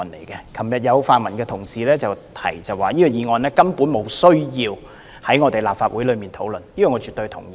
昨天有泛民同事指出，這項議案根本沒有需要在立法會討論，這點我絕對同意。